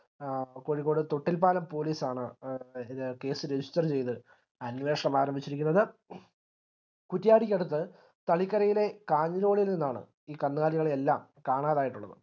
ആ കോഴിക്കോട് തൊട്ടിൽപ്പാലം police ആണ് case register ചെയ്ത അന്വേഷണം ആരംഭിച്ചിരിക്കുന്നത് കുറ്റിയാടിക്കടുത്ത് തളിക്കരയിലെ നിന്നാണ് ഈ കന്നുകാലികളെയെല്ലാം കാണാതായിട്ടുള്ളത്